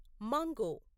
mango